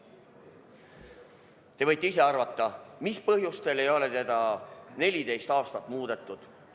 Te võite ise arvata, mis põhjustel ei ole seda korda 14 aastat muudetud.